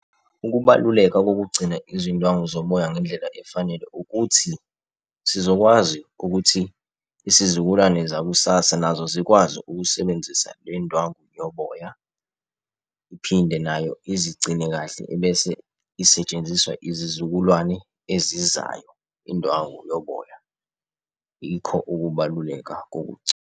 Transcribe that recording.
Ukubaluleka kokugcina izindwangu zoboya ngendlela efanele, ukuthi sizokwazi ukuthi isizukulwane zakusasa nazo zikwazi ukusebenzisa le ndwangu yoboya. Iphinde nayo izigcine kahle, ebese isetshenziswa izizukulwane ezizayo indwangu yoboya. Yikho ukubaluleka .